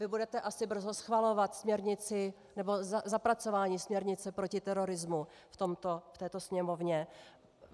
Vy budete asi brzo schvalovat směrnici nebo zapracování směrnice proti terorismu v této Sněmovně.